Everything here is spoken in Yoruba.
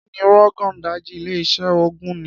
Kí ni Rogon Daji, ilé-iṣẹ́ oògùn, ní?